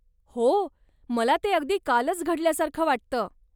हो, मला ते अगदी कालच घडल्यासारखं वाटतं.